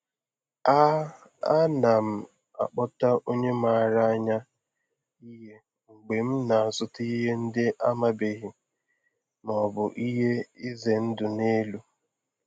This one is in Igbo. A A na m akpọta onye maara anya ihe mgbe m na-azụta ihe ndị amabeghị ma ọ bụ ihe ize ndụ dị elu.